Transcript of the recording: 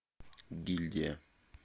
гильдия